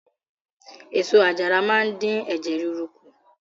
Èso àjàra máa ń dín ẹ̀jẹ̀ ríru kù.